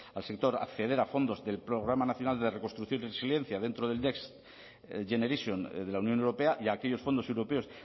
al sector acceder a fondos del programa nacional de reconstrucción y resiliencia dentro del next generation de la unión europea y a aquellos fondos europeos